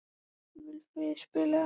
Vilfríður, spilaðu lag.